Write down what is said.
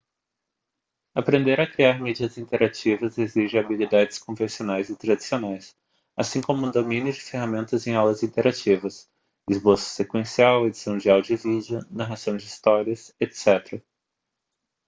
aprender a criar mídias interativas exige habilidades convencionais e tradicionais assim como o domínio de ferramentas em aulas interativas esboço sequencial edição de áudio e vídeo narração de histórias etc.